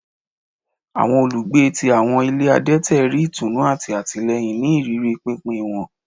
Awọn olugbe ti awọn ile adẹtẹ ri itunu ati atilẹyin ni iriri pinpin wọn